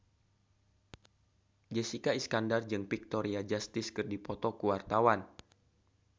Jessica Iskandar jeung Victoria Justice keur dipoto ku wartawan